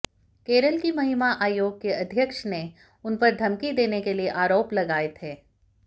केरल की महिला आयोग की अध्यक्ष ने उन पर धमकी देने के आरोप लगाए थे